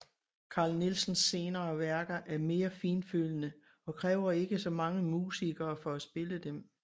Carl Nielsens senere værker er mere fintfølende og kræver ikke så mange musikere for at spille dem